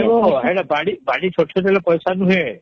ସେଟା ବାଡ଼ି ସରସେଇ ଦେଲେ ପଇସା ନୁହେ